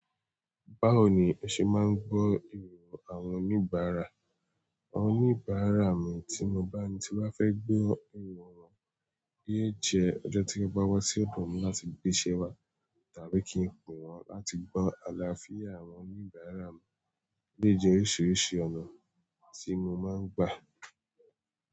Báwo ni o ṣe máa ń gbọ́ ìrò àwọn oníbàárà? Àwọn oníbàárà mi tí mo bá ni toba fẹ́ gbe ìrò mi, yé é jẹ́ ọjọ́ tí wọ́n bá wá sí ọ̀dọ̀ mi láti gbéṣẹ́ wá tàbí kí n pè wọ́n láti gbọ́ àlàáfíà àwọn oníbàárà mi. O dé je oríṣiríṣi ọ̀nà tí mo máa ń gbà.